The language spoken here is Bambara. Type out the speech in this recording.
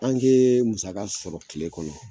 An ke musaka sɔrɔ kile kɔnɔ.